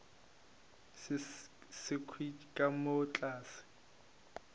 se sekhwi ka mo tlase